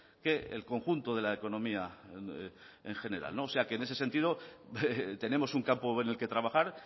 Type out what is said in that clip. que el conjunto de la economía en general o sea que en ese sentido tenemos un campo en el que trabajar